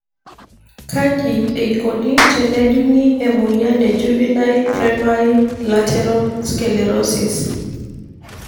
Kaji eikoni tenejungi emoyian e juvenile primary lateral sclerosis?